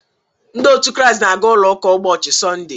Ndị otu christ n'aga ụlọ ụka ụbọchị Sọnde